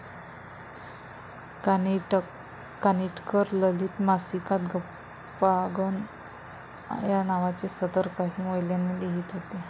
कानिटकर ललित मासिकात गप्पांगण या नावाचे सदर काही महिने लिहीत होते.